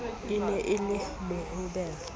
e ne e le mohobelo